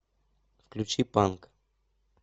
включи панк